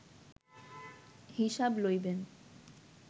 হিসাব লইবেন